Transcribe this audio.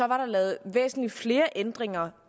var der lavet væsentlig flere ændringer